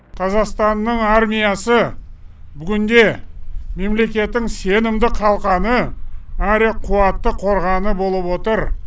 қазақстанның армиясы бүгінде мемлекеттің сенімді қалқаны әрі қуатты қорғаны болып отыр